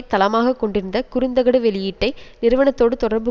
தளமாக கொண்டிருந்த குறுந்தகடு வெளியீட்டை நிறுவனத்தோடு தொடர்பு